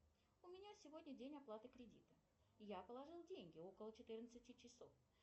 у меня сегодня день оплаты кредита я положила деньги около четырнадцати часов